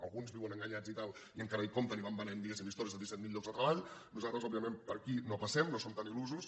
alguns viuen enganyats i tal i encara hi compten i van venent diguéssim històries de disset mil llocs de treball nosaltres òbviament per aquí no passem no som tan il·lusos